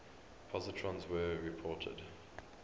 positrons were reported